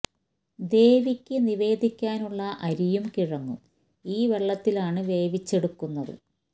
ദേവിക്ക് നിവേദി ക്കാനുള്ള അരിയും കിഴങ്ങും ഈ വെള്ളത്തിലാണ് വേവിച്ചെടുക്കു ന്നത്